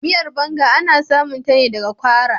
Miyar" banga " ana samun ta ne daga kwara.